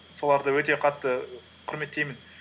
соларды өте қатты құрметтеймін